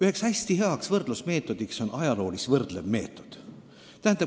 Üks hästi hea võrdlusmeetod on ajaloolis-võrdlev meetod.